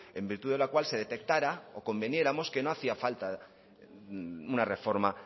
en virtud de la cual se detectara o conviniéramos que no hacía falta una reforma